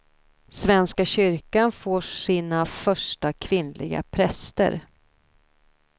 Svenska kyrkan får sina första kvinnliga präster.